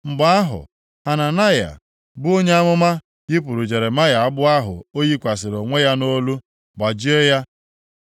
Mgbe ahụ, Hananaya bụ onye amụma yipụrụ Jeremaya agbụ ahụ o yikwasịrị onwe ya nʼolu gbajie ya.